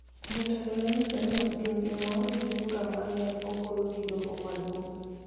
Jotelo nonyiso ni ok gin gi mor gi bura ma ne ogol gi Doho Maduong�